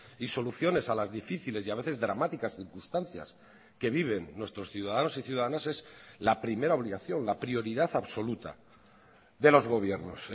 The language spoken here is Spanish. y soluciones a las difíciles y a veces dramáticas circunstancias que viven nuestros ciudadanos y ciudadanas es la primera obligación la prioridad absoluta de los gobiernos